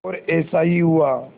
और ऐसा ही हुआ